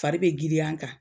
Fari be giriya n kan